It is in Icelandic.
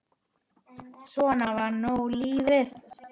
Svona var nú lífið.